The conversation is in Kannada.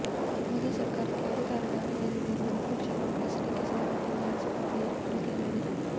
ಮೋದಿ ಸರಕಾರಕ್ಕೆ ಅಧಿಕಾರದ ಅಮಲೇರಿದೆ ಎಂದು ವಿಪಕ್ಷ ಕಾಂಗ್ರೆಸ್ ಟೀಕಿಸಿದ ಬೆನ್ನಲ್ಲೇ ಎಸ್ಬಿಎಸ್ಪಿ ಹೇಳಿಕೆ ನೀಡಿದೆ